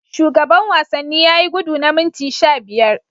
Shugaban wanni yayi gudu na minti sha biyar.